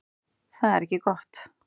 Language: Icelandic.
Þetta er ekki gott.